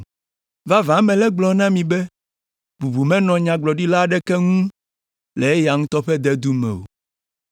“Vavã mele egblɔm na mi be, bubu menɔa nyagblɔɖila aɖeke ŋu le eya ŋutɔ ƒe dedu me o.